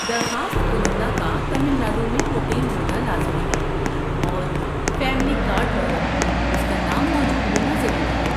درخواست کنندہ کا تمل ناڈو میں مقیم ہونا لازمی ہے اور فیملی کارڈ پر اس کا نام موجود ہونا ضروری ہے۔